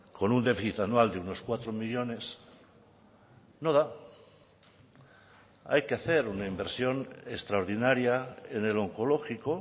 con un déficit anual de unos cuatro millónes no da hay que hacer una inversión extraordinaria en el onkologiko